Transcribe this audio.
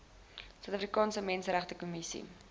suid afrikaanse menseregtekommissie